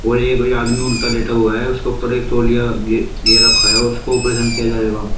और ये ये आदमी उल्टा लेटा हुआ है उसके ऊपर एक तौलिया गे गे रक्खा है और उसको ऑपरेशन किया जाएगा।